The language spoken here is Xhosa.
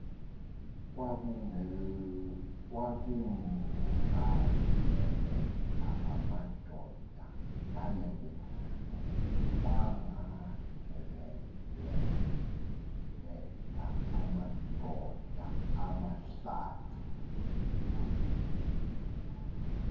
kwagaleleka amadoda amahlanu